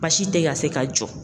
Basi te ka se ka jɔ